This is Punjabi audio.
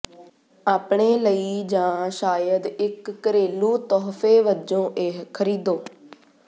ਆਪਣੇ ਲਈ ਜਾਂ ਸ਼ਾਇਦ ਇਕ ਘਰੇਲੂ ਤੋਹਫ਼ੇ ਵਜੋਂ ਇਹ ਖਰੀਦੋ